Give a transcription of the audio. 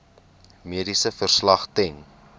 mediese verslag ten